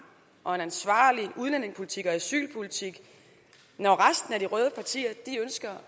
og ansvarlig udlændingepolitik og asylpolitik når resten af de røde partier ønsker